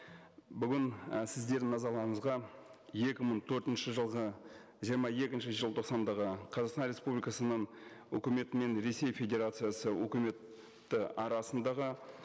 бүгін і сіздердің назарларыңызға екі мың төртінші жылғы жиырма екінші желтоқсандағы қазақстан республикасының өкіметі мен ресей федерациясы өкіметі арасындағы